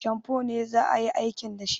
Shamfo ne za a yi aikin da shi